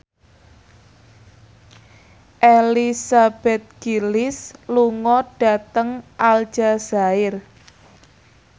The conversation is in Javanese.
Elizabeth Gillies lunga dhateng Aljazair